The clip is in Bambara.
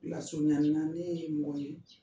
Lasurunya la ne ye mɔgɔ min ye